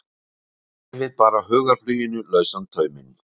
Gefið bara hugarfluginu lausan tauminn.